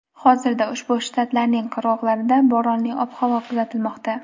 hozirda ushbu shtatlarning qirg‘oqlarida bo‘ronli ob-havo kuzatilmoqda.